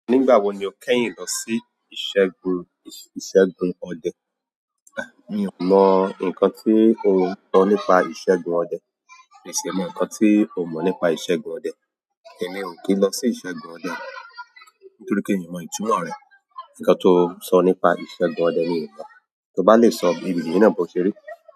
Nígbà wo ni o kẹ́yìn lọ sí ìṣẹ́gun ìṣẹ́gun ọdẹ? Mi o mo nkan eyan so nípa isegun ọdẹ. Mi sì mọ ǹkan tí o mọ̀ nípa ìṣẹ́gun ọdẹ. Ẹ̀mi ò kí lọ sí ìṣẹ́gun ọdẹ nítorí pé mi o mọ̀ ìtumọ̀ rẹ̀. Ǹkan ti ó sọ nípa ìṣẹ́gun ọdẹ mi ò mọ̀. Ti e bá lè sọ ìrírí náà bó o ṣe rí.